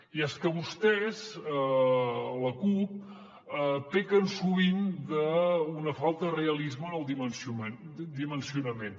i és que vostès la cup pequen sovint d’una falta de realisme en el dimensionament